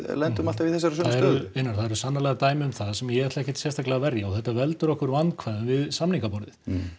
lendum alltaf í þessari sömu stöðu einar það eru sannarlega dæmi um það sem ég ætla ekkert sérstaklega að verja og þetta veldur okkur vandkvæðum við samningaborðið